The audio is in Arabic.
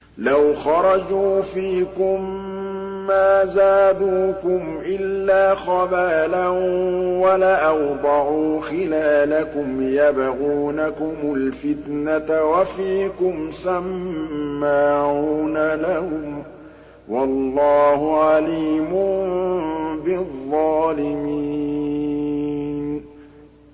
لَوْ خَرَجُوا فِيكُم مَّا زَادُوكُمْ إِلَّا خَبَالًا وَلَأَوْضَعُوا خِلَالَكُمْ يَبْغُونَكُمُ الْفِتْنَةَ وَفِيكُمْ سَمَّاعُونَ لَهُمْ ۗ وَاللَّهُ عَلِيمٌ بِالظَّالِمِينَ